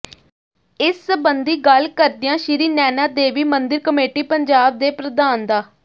ਇਸ ਸਬੰਧੀ ਗੱਲ ਕਰਦਿਆਂ ਸ਼੍ਰੀ ਨੈਣਾ ਦੇਵੀ ਮੰਦਿਰ ਕਮੇਟੀ ਪੰਜਾਬ ਦੇ ਪ੍ਰਧਾਨ ਡਾ